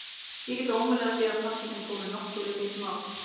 Ég get ómögulega séð að pabbi þinn komi nokkuð við þitt mál.